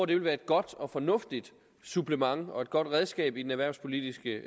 det vil være et godt og fornuftigt supplement og et godt redskab i det erhvervspolitiske